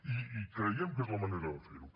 i creiem que és la manera de fer ho